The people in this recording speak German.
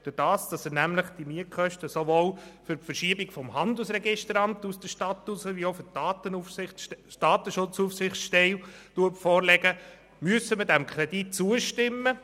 Indem er dem Grossen Rat nämlich die Mietkosten sowohl für die Verschiebung des Handelsregisteramts als auch der Datenaufsichtsstelle aus der Stadt vorlegt, sind wir gezwungen, diesem Kredit zustimmen.